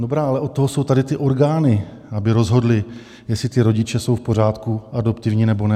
Dobrá, ale od toho jsou tady ty orgány, aby rozhodly, jestli ti rodiče jsou v pořádku, adoptivní, nebo ne.